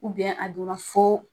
a donna fɔ